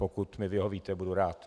Pokud mi vyhovíte, budu rád.